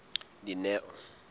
dineo